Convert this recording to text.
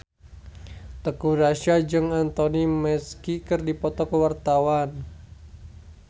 Teuku Rassya jeung Anthony Mackie keur dipoto ku wartawan